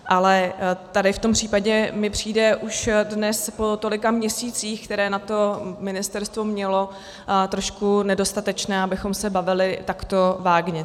Ale tady v tom případě mi přijde už dnes, po tolika měsících, které na to ministerstvo mělo, trošku nedostatečné, abychom se bavili takto vágně.